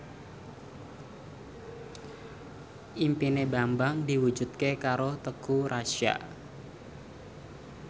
impine Bambang diwujudke karo Teuku Rassya